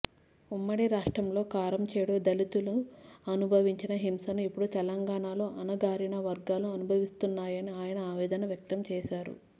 ఉమ్మడి రాష్ట్రంలో కారంచేడు దళితులు అనుభవించిన హింసను ఇప్పుడు తెలంగాణాలో అణగారిన వర్గాలు అనుభవిస్తున్నాయని ఆయన ఆవేదన వ్యక్తం చేశారు